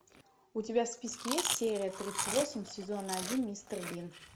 у тебя в списке есть серия тридцать восемь сезона один мистер бин